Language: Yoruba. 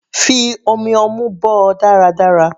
Fi omi ọmú bọ́ ọ dáradára.